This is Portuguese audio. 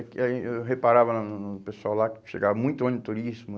Eu reparava no no no pessoal lá que chegava muito ônibus turístico.